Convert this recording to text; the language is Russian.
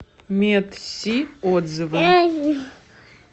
медси отзывы